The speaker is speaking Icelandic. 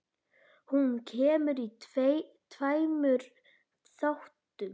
Hún kemur í tveimur þáttum.